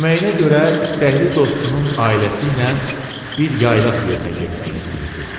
Deməyinə görə istəkli dostunun ailəsi ilə bir yaylaq yerinə getmək istəyirdi.